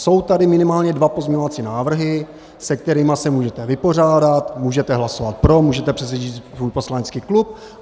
Jsou tady minimálně dva pozměňovací návrhy, se kterými se můžete vypořádat, můžete hlasovat pro, můžete přesvědčit svůj poslanecký klub.